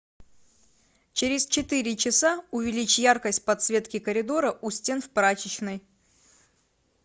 через четыре часа увеличь яркость подсветки коридора у стен в прачечной